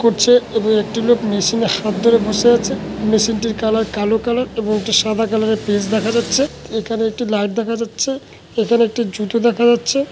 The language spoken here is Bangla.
করছে এবং একটি লোক মেশিনে হাত ধরে বসে আছে মেশিনটির কালার কালো কালার এবং একটি সাদা কালারের পেজ দেখা যাচ্ছে এখানে একটি লাইট দেখা যাচ্ছে এখানে একটি জুতো দেখা যাচ্ছে।